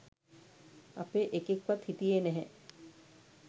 අපේ එකෙක්වත් හිටියේ නැහැ